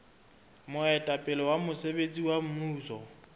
moetapele wa mosebetsi wa mmuso